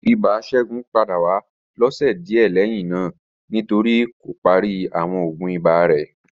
Ibà Segun pada wa ni ọsẹ diẹ lẹhinna nitori ko pari awọn oògùn iba rẹ